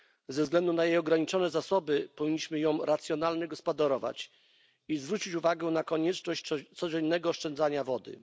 Ze względu na jej ograniczone zasoby powinniśmy nią racjonalnie gospodarować i zwrócić uwagę na konieczność codziennego oszczędzania wody.